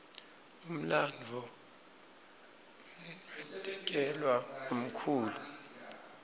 umlandvo ngatekelwa ngumkhulu